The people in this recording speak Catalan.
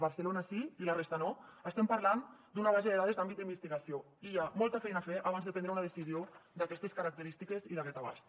barcelona sí i la resta no estem parlant d’una base de dades d’àmbit d’investigació i hi ha molta feina a fer abans de prendre una decisió d’aquestes característiques i d’aquest abast